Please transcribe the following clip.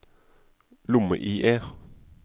lomme-IE